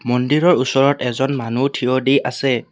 মন্দিৰৰ ওচৰত এজন মানুহ থিয় দি আছে।